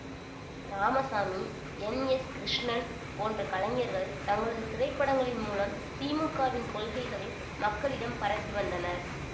Ramasamy N S Krishnan போன்ற கலைஞர்கள் தங்களது திரைப்படங்களின் மூலம் திமுகவின் கொள்கைகளை மக்களிடம் பரப்பி வந்தனர்